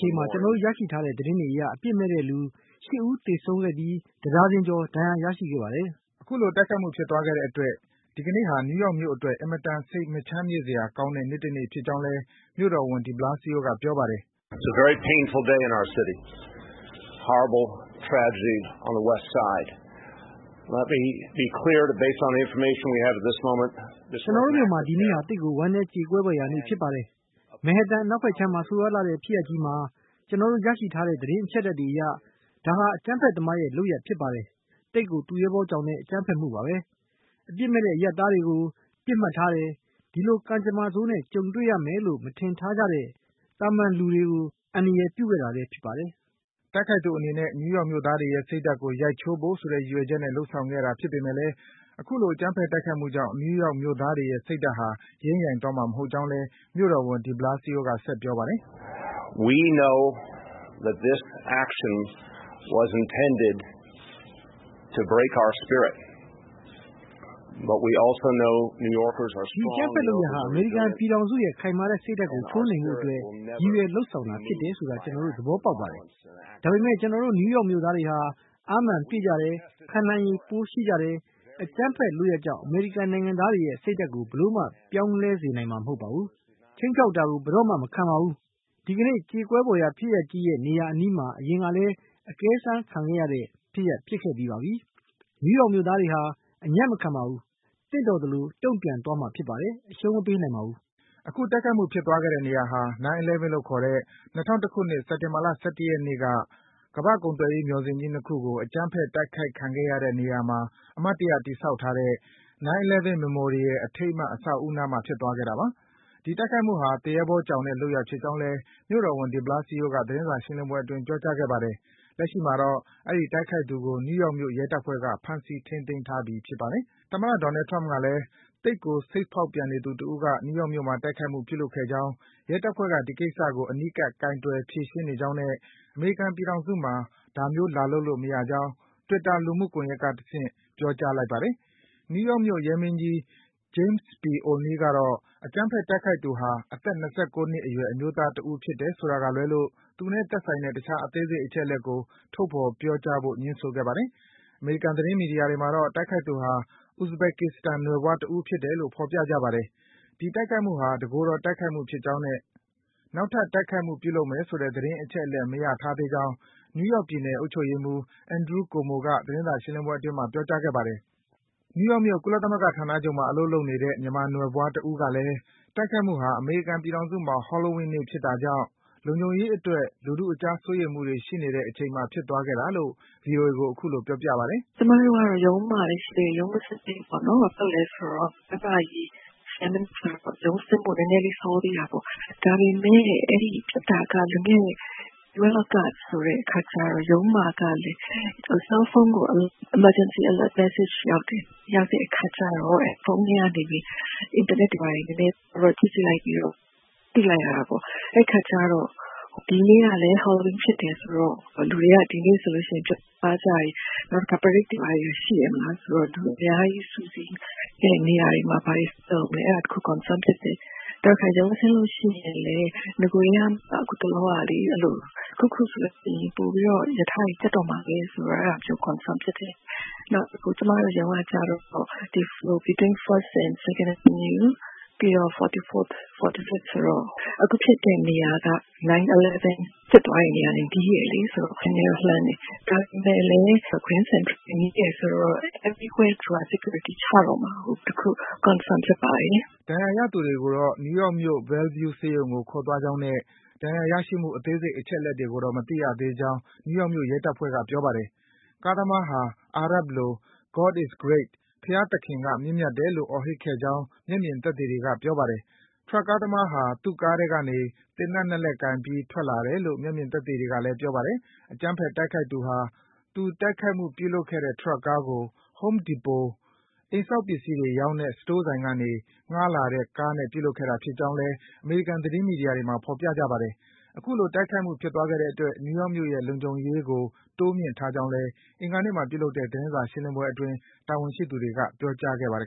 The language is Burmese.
ျိန်မှာ ကျနော်တို့ရရှိထားတဲ့ သတင်းတွေအရ အပြစ်မဲ့တဲ့လူ ၈ ဦး သေဆုံးခဲ့ပြီး တဒါဇင်ကျော် ဒဏ်ရာရရှိခဲ့ပါတယ်။” အခုလို တိုက်ခိုက်မှု ဖြစ်သွားခဲ့တဲ့ အတွက် ဒီကနေ့ဟာ နယူးယောက်မြို့အတွက် အင်မတန် စိတ်မချမ်းမြေ့စရာကောင်းတဲ့ နေ့တနေ့ဖြစ်ကြောင်းလည်း မြို့တော်ဝန် de Blasio က ပြောပါတယ်။ “ကျနော်တို့မြို့မှာ ဒီနေ့ဟာသိပ်ကို ဝမ်းနည်းကြေကွဲဖွယ်ရာနေ့ ဖြစ်ပါတယ်။ မက်ဟန်တန် အနောက်ဖက်ခြမ်းမှာ ဆိုးရွားလှတဲ့ ဖြစ်ရပ်ကြီးမှာ ကျနော်တို့ ရရှိထားတဲ့ သတင်း အချက်လက်တွေအရ ဒါဟာ အကြမ်းဖက်သမားရဲ့ လုပ်ရပ်ဖြစ်ပါတယ်။ သိပ်ကို သူရဲဘောကြောင်တဲ့ အကြမ်းဖက်မှုပါပဲ။ အပြစ်မဲ့ အရပ်သားတွေကို ပစ်မှတ်ထားတယ်။ ဒီလို ကံကြမ္မာဆိုးနဲ့ ကြုံရလိမ့်မယ်လို့ ထင်မထားကြတဲ့ သာမန်လူတွေကို အန္တရာယ်ပြုခဲ့တာလည်း ဖြစ်ပါတယ်။” တိုက်ခိုက်သူ အနေနဲ့ နယူးယောက်မြို့သားတွေရဲ့စိတ်ဓါတ်ကို ရိုက်ချိုးဖို့ဆိုတဲ့ ရည်ရွယ်ချက်နဲ့ လုပ်ဆောင်ခဲ့တာ ဖြစ်ပေမယ့် အခုလို အကြမ်းဖက် တိုက်ခိုက်မှုကြောင့် နယူးယောက်မြို့သားတွေရဲ့ စိတ်ဓါတ်ဟာ ယိမ်းယိုင်သွားမှာ မဟုတ်ကြောင်းလည်း မြို့တော်ဝန် de Blasio က ဆက်ပြောပါတယ်။ “ ဒီအကြမ်းဖက်လုပ်ရပ်ဟာ အမေရိကန်ပြည်ထောင်စုရဲ့ ခိုင်မာတဲ့ စိတ်ဓါတ်ကို ခြိုးနှိမ်လိုတဲ့ အတွက် ရည်ရွယ်လုပ်ဆောင်တာ ဖြစ်တယ်ဆိုတာ ကျနော်တို့ သဘောပေါက်ပါတယ်။ ဒါပေမယ့် ကျနော်တို့ နယူးယောက် မြို့သားတွေဟာ အားမာန်ပြည့်ကြပါတယ်။ ခံနိုင်ရည် ရှိကြပါတယ်။ အကြမ်းဖက် လုပ်ရပ်ကြောင့် အမေရိကန်နိုင်ငံသားတွေရဲ့စိတ်ဓါတ်ကို ဘယ်လိုမှ ပြောင်းလဲစေနိုင်မှာ မဟုတ်ပါဘူး။ ခြိမ်းခြောက်တာကို ဘယ်တော့မှ မခံပါဘူး။ ဒီကနေ့ ကြေကွဲဖွယ်ရာ ဖြစ်ရပ်ကြီး ဖြစ်တဲ့ နေရာအနီးမှာ အရင်ကလည်း အကဲစမ်း ခံခဲ့ရပြီးပါပြီ။ နယူးယောက် မြို့သားတွေဟာ အညံ့မခံခဲ့ပါဘူး။ သင့်တော်သလို တုံ့ပြန်သွားမှာ ဖြစ်ပါတယ်။ အရှုံးမပေးနိုင်ပါဘူး။” အခု တိုက်ခိုက်မှု ဖြစ်သွားတဲ့နေရာဟာ 9/11 လို့ခေါ်တဲ့ ၂၀၀၁ ခုနှစ်၊ စက်တင်ဘာလ ၁၁ ရက်နေ့ ကမ္ဘာ့ကုန်သွယ်ရေး မျှော်စင်ကြီး ၂ ခုကို အကြမ်းဖက် တိုက်ခိုက်ခဲ့ရတဲ့ နေရာမှာ အမှတ်တရ တည်ဆောက်ထားတဲ့ 9/11 Memorial အထိမ်းအမှတ် အဆောက်အအုံ နားမှာ ဖြစ်သွားခဲ့တာပါ။ ဒီတိုက်ခိုက်မှုဟာ သူရဲဘောကြောင်တဲ့ လုပ်ရပ်ဖြစ်ကြောင်းလည်း မြို့တော်ဝန် de Blasio က သတင်းစာရှင်းလင်းပွဲအတွင်း ပြောကြားခဲ့ပါတယ်။ လက်ရှိမှာတော့ အဲဒီ တိုက်ခိုက်သူကို နယူးယောက်မြို့ ရဲတပ်ဖွဲ့က ဖမ်းဆီး ထိန်းသိမ်းထားပြီ ဖြစ်ပါတယ်။ သမ္မတ Donald Trump ကလည်း - “သိပ်ကို စိတ်ဖောက်ပြန်နေသူတဦးက နယူးယောက်မြို့မှာ တိုက်ခိုက်မှု ပြုလုပ်ခဲ့ကြောင်း၊ ရဲတပ်ဖွဲ့က ဒီကိစ္စကို အနီးကပ် ကိုင်တွယ် ဖြေရှင်းနေကြောင်းနဲ့ အမေရိကန် ပြည်ထောင်စုမှာ ဒါမျိုး လာလုပ်လို့ မရကြောင်း” Twitter လူမှုကွန်ယက်က တဆင့် ပြောကြားလိုက်ပါတယ်။ နယူးယောက်မြို့ ရဲမင်းကြီး James P. O’Neil ကတော့ - အကြမ်းဖက် တိုက်ခိုက်သူဟာ အသက် ၂၉ အရွယ် အမျိုးသားတဦး ဖြစ်တယ် ဆိုတာကလွဲလို့ သူနဲ့သက်ဆိုင်တဲ့ တခြား အသေးစိတ် အချက်အလက်ကို ထုတ်ဖော် ပြောကြားဖို့ ငြင်းဆိုခဲ့ပါတယ်။ အမေရိကန် သတင်းမီဒီယာတွေမှာတော့ တိုက်ခိုက်သူဟာ ဥဇဘက်ကစ္စတန် နွယ်ဖွားတဦး ဖြစ်တယ်လို့ ဖော်ပြကြပါတယ်။ ဒီတိုက်ခိုက်မှုဟာ တကိုယ်တော် တိုက်ခိုက်မှု ဖြစ်ကြောင်းနဲ့ နောက်ထပ် တိုက်ခိုက်မှု ပြုလုပ်မယ်ဆိုတဲ့ သတင်း အချက်အလက် ရမထားသေးကြောင်း နယူးယောက်ပြည်နယ် အုပ်ချုပ်ရေးမှူး Andrew Cuomo က သတင်းစာ ရှင်းလင်းပွဲအတွင်း ပြောကြားခဲ့ပါတယ်။ နယူးယောက်မြို့၊ ကုလသမဂ္ဂ ဌာနချုပ်မှာ အလုပ်လုပ်နေတဲ့ မြန်မာနွယ်ဖွား တဦးကလည်း တိုက်ခိုက်မှုဟာ အမေရိကန်ပြည်ထောင်စုမှာ Halloween နေ့ ဖြစ်တာကြောင့် လုံခြုံရေးအတွက် လူထုအကြားမှာ စိုးရိမ်မှုတွေ ရှိနေတဲ့ အချိန်မှာ ဖြစ်သွားခဲ့တာလို့ ဗွီအိုအေကို အခုလို ပြောပြပါတယ်။ “ကျမတို့ကတော့ ရုံးမှာပဲရှိသေးတယ်။ ရုံးမဆင်းသေးဘူး ပေါ့နော်။ ရုံးဆင်းဖို့ နည်းနည်း လိုသေးတာပေါ့။ ရုံးမှာကလည်း ဆဲလ်ဖုန်းကို emergency alert message ရောက်တယ်။ ရောက်တဲ့ အခါကြတော့ ဖုန်းထဲကနေပြီး အင်တာနက်တွေ ဘာတွေ နည်းနည်း ကြည့်ကြည့်လိုက် ပြီးတော့ သိလိုက်ရတာပေါ့။ အဲဒီအခါကြတော့ ဒီနေ့ကလည်း Halloween ဖြစ်တယ်ဆိုတော့ လူတွေက ဒီနေ့ ဆိုရင် အပြင်သွားကြတယ်။ နောက် prade တွေဘာတွေ ရှိတယ်မဟုတ်လား။ လူအများကြီး စုစည်း တဲ့နေရာတွေမှာ ဘာတွေလုပ်မလဲ - အဲဒါတခု concern ဖြစ်တယ်။ နောက်တခါ ရုံးဆင်းလို့ရှိရင်လည်း နဂိုထဲကမှ အခုတလောကလေ အဲဒီလို တခုခုဆိုရင် ပိုပြီးတော့ ရထားတွေ ပြတ်သွားတော့မှာပဲ ဆိုပြီးတော့ concern ဖြစ်တယ်။ နောက်ကျမတို့ရုံးကကြတော့ between 1st and 2nd Ave ပြီးတော့ 44th, 45th ဆိုတော့ အခုဖြစ်တဲ့ နေရာက 9/11 ဖြစ်သွားတဲ့နေရာနဲ့ နီးတယ်လေ။ ကျမတို့နဲ့တော့ နဲနဲ လှမ်းပါတယ်။ ဒါပေမဲ့လည်း Grand Central ဘူတာရုံနဲ့ နီးတယ်ဆိုတော့ everywhere security ချတော့မှာမို့ concern ဖြစ်ပါတယ်။” ဒဏ်ရာ ရရှိသူတွေ ကိုတော့ နယူးယောက်မြို့ Bellevue ဆေးရုံကို ခေါ်သွားကြောင်းနဲ့ ဒဏ်ရာရရှိမှု အသေးစိတ် အချက်လက် တွေကိုတော့ မသိရသေးကြောင်း နယူးယောက်မြို့ ရဲတပ်ဖွဲ့က ပြောပါတယ်။ ကားသမားဟာ အာရပ်လို “God is Great”“ဘုရားသခင်က မြင့်မြတ်တယ်” လို့ အော်ဟစ်ခဲ့ကြောင်း မျက်မြင် သက်သေတွေ ကပြောပါတယ်။ ထရပ်ကား သမားဟာ သူ့ကားထဲကနေ သေနတ် ၂ လက်ကိုင်ပြီး ထွက်လာတယ်လို့လည်း မျက်မြင် သက်သေတွေက ပြောပါတယ်။ အကြမ်းဖက် တိုက်ခိုက်သူဟာ သူ တိုက်ခိုက်မှု ပြုလုပ်ခဲ့တဲ့ ထရပ်ကားကို Home Depot - အိမ်ဆောက်ပစ္စည်းတွေ ရောင်းတဲ့ စတိုးဆိုင်ကနေ ငှားလာတဲ့ကားနဲ့ ပြုလုပ်ခဲ့တာဖြစ်ကြောင်း အမေရိကန် သတင်းမီဒီယာတွေမှာ ဖော်ပြကြပါတယ်။ အခုလို တိုက်ခိုက်မှု ဖြစ်သွားခဲ့တဲ့အတွက် နယူးယောက်မြို့ရဲ့ လုံခြုံရေးကို တိုးမြှင့်ထားကြောင်းလည်း အင်္ဂါနေ့မှာ ပြုလုပ်တဲ့ သတင်းစာ ရှင်းလင်းပွဲအတွင်း တာဝန်ရှိသူတွေက ပြောကြားခဲ့ပါတယ်